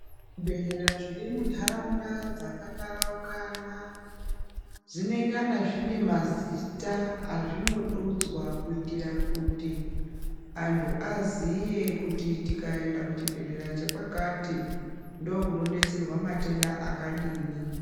Zvibhedhleya zviri mu ndaraunda dzaka taraukana dzinengana zvine mazita azvino dudzwa kuitira kuti antu aziye kuti tikaenda ku chibhedhleya che kwakati ndo kuno detserwa matenda akadini.